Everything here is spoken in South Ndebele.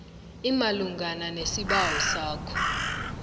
imalungana nesibawo sakho